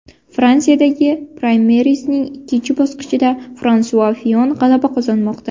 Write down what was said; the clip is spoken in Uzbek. Fransiyadagi praymerizning ikkinchi bosqichida Fransua Fiyon g‘alaba qozonmoqda.